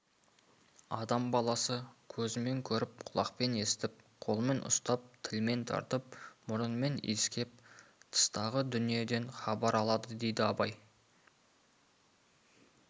адам баласы көзімен көріп құлақпен естіп қолмен ұстап тілмен татып мұрнымен иіскеп тыстағы дүниеден хабар алады дейді абай